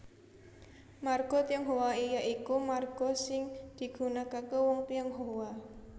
Marga Tionghoa ya iku marga sing digunakaké wong Tionghoa